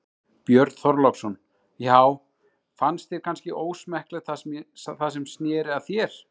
Björn Þorláksson: Já fannst þér kannski ósmekklegt það sem snéri að þér?